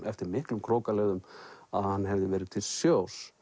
eftir miklum krókaleiðum að hann hefði verið til sjós